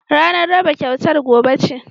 Ranar raba kyautar gobe ce